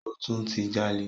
Ó tún ti jalè.